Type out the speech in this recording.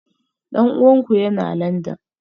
Dan uwanku yana Landan?